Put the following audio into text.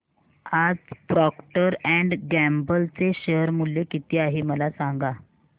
आज Procter and Gamble चे share मूल्य किती आहे मला सांगा